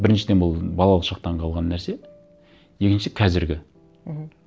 біріншіден бұл балалық шақтан қалған нәрсе екінші қазіргі мхм